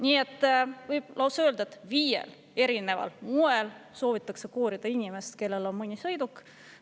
Nii et võib öelda, et lausa viiel erineval moel soovitakse koorida inimest, kellel on mõni sõiduk.